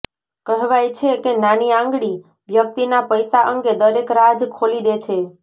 કહેવાય છે કે નાની આંગળી વ્યક્તિના પૈસા અંગે દરેક રાજ ખોલી દે છે